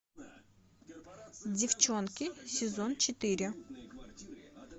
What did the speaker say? девчонки сезон четыре